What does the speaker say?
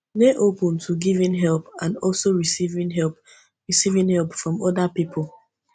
dey open to giving help and also receiving help receiving help from oda pipo